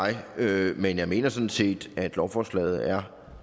jeg men jeg mener sådan set at lovforslaget er